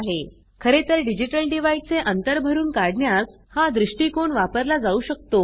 खरेतर digital divide चे अंतर भरून काढण्यास हा दृष्टिकोन वापरला जाऊ शकतो